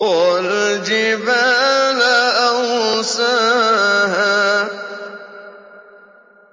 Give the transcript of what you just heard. وَالْجِبَالَ أَرْسَاهَا